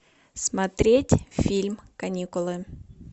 смотреть фильм каникулы